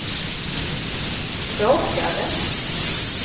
råkade